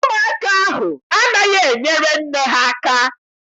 Ụmụaka ahụ anaghị enyere nne ha aka.